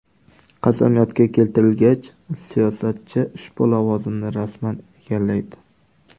Qasamyodga keltirilgach, siyosatchi ushbu lavozimni rasman egallaydi.